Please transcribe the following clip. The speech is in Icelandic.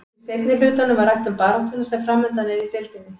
Í seinni hlutanum var rætt um baráttuna sem framundan er í deildinni.